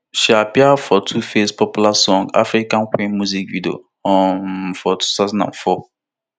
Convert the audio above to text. she appear for tuface popular song african queen music video um for two thousand and four